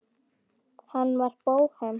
Hann var bóhem.